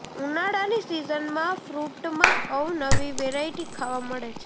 ઉનાળાની સિઝનમાં ફ્રૂટમાં અવનવી વેરાઇટી ખાવા મળે છે